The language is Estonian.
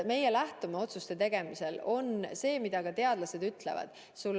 Meie lähtume otsuste tegemisel sellest, mida teadlased ütlevad.